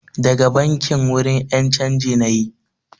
Daga bankin, wurin ƴan canji nayi